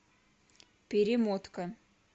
перемотка